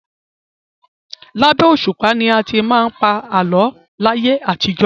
Labẹ́ òṣùpá ni a ti máa ń pa àlọ́ láyé àtijọ́.